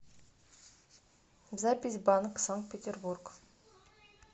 запись банк санкт петербург